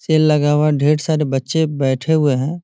Cell लगा हुआ है ढेर सारे बच्चें बैठे हुए हैं।